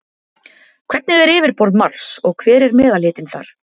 Hvernig er yfirborð Mars og hver er meðalhitinn þar?